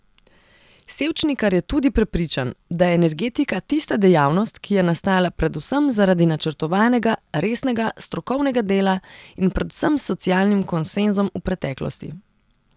Sevčnikar je tudi prepričan, da je energetika tista dejavnost, ki je nastala predvsem zaradi načrtovanega, resnega, strokovnega dela in predvsem s socialnim konsenzom v preteklosti.